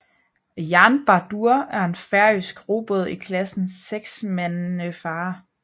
Jarnbardur er en færøsk robåd i klassen seksmandefarer